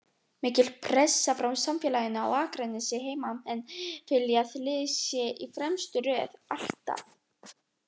Mikil pressa frá samfélaginu á Akranesi, heimamenn vilja að liðið sé í fremstu röð, ALLTAF!